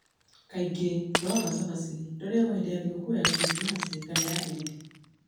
Kaingĩ rũũa rwa Chapati rũrĩagagio hĩndĩ ya thigũkũ ta Krismasi na Eid.